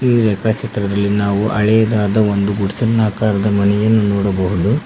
ಈ ರೇಖಾಚಿತ್ರದಲ್ಲಿ ನಾವು ಹಾಳೆದಾದ ಒಂದು ಗುಡಸಿನ ಆಕಾರದ ಮನಿಯನ್ನು ನೋಡಬಹುದು.